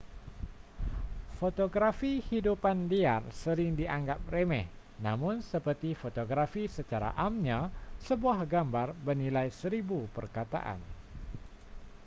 fotografi hidupan liar sering dianggap remeh namun seperti fotografi secara amnya sebuah gambar bernilai seribu perkataan